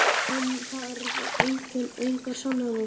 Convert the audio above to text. Hún þarf engar sannanir.